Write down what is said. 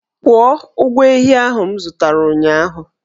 Kwụọ ụgwọ ehi ahụ m zụtara ụnyahụ!